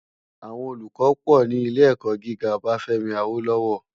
Awòn ólúkò pò ni ilé èkò gigá Obafemi Awolowo